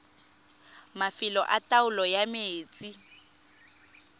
mafelo a taolo ya metsi